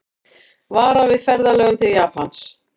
Varað við ferðalögum til Japans